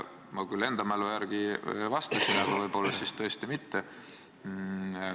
Ma enda mälu järgi küll vastasin, aga võib-olla siis tõesti mitte.